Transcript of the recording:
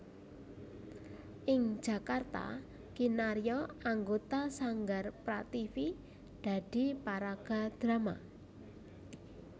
Ing Jakarta kinarya anggota Sanggar Prativi dadi paraga drama